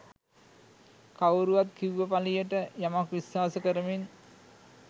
කවුරුවත් කිව්ව පලියට යමක් විශ්වාස කරමින්